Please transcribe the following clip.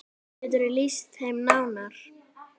Geturðu lýst þeim nánar?